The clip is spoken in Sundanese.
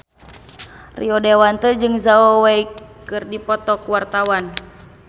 Rio Dewanto jeung Zhao Wei keur dipoto ku wartawan